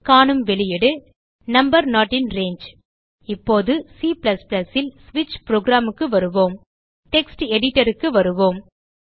காணும் வெளியீடு number not in range இப்போது C ல் ஸ்விட்ச் புரோகிராம் க்கு வருவோம் டெக்ஸ்ட் editorக்கு வருவோம்